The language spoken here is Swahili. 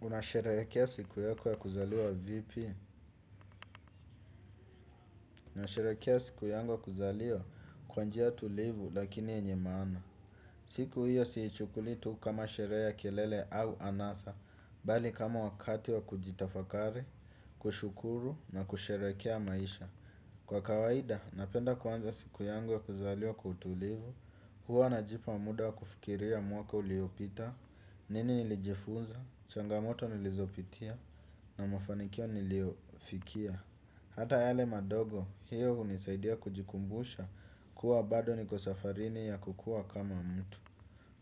Unasherehekea siku yako ya kuzaliwa vipi? Ninasherekea siku yangu ya kuzaliwa kwa njia tulivu lakini yenye maana. Siku hiyo siichukulii tu kama sherehe kelele au anasa. Bali kama wakati wa kujitafakari, kushukuru na kusherekea maisha. Kwa kawaida, napenda kuanza siku yangu ya kuzaliwa kwa utulivu. Huwa najipa muda wa kufikiria mwaka uliopita. Nini nilijifunza, changamoto nilizopitia na mafanikio niliofikia. Hata yale madogo, hiyo hunisaidia kujikumbusha kuwa bado niko safarini ya kukua kama mtu.